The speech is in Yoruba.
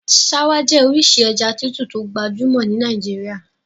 Ṣáwá jẹ́ orísìí ẹja tútù tó gbajúmọ̀ ní Nàìjíríà.